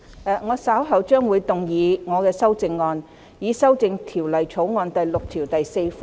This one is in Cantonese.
律政司司長會動議修正案，旨在修正第6條。